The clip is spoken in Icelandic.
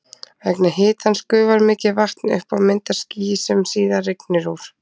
Vegna hitans gufar mikið vatn upp og myndar ský sem síðar rignir úr.